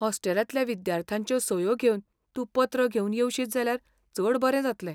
हॉस्टेलांतल्या विद्यार्थ्यांच्यो सयो घेवन तूं पत्र घेवन येवशीत जाल्यार चड बरें जातलें.